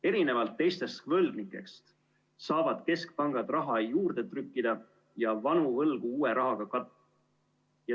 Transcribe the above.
Erinevalt teistest võlgnikest saavad keskpangad raha juurde trükkida ja vanu võlgu uue rahaga katta.